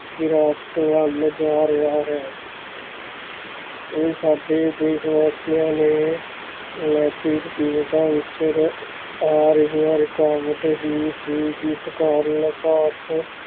ਗਿਰਾਵਟ ਵੱਲ ਜਾ ਰਿਹਾ ਹੈ ਇਹ ਸਾਡੇ ਦੇਸ ਵਾਸੀਆਂ ਦੇ ਨੈਤਿਕ ਕੀਮਤਾਂ ਵਿੱਚ ਰ~ ਆ ਰਹਿਆਂ ਰੁਕਾਵਟ ਹੀ ਸੀ ਜਿਸ ਕਾਰਨ ਭਾਰਤ